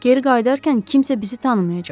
Geri qayıdarkən kimsə bizi tanımayacaq.